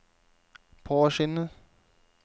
påskyndet